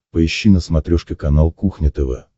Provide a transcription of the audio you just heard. поищи на смотрешке канал кухня тв